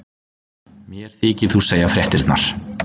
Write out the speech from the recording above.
Mér þykir þú segja fréttirnar!